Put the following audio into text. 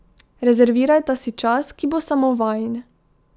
Rezervirajta si čas, ki bo samo vajin.